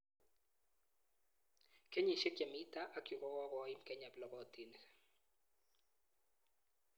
Kenyishek chemi tai ak chu kokokoim Kenya plokotinik